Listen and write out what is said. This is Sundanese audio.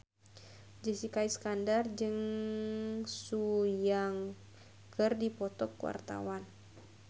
Jessica Iskandar jeung Sun Yang keur dipoto ku wartawan